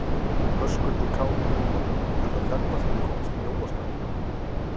Höskuldur Kári: Er það hérna sem þið komist í jólaskap?